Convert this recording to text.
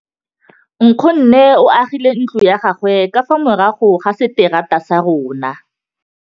Nkgonne o agile ntlo ya gagwe ka fa morago ga seterata sa rona.